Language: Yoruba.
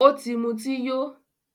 Ọ̀ tì mútí yó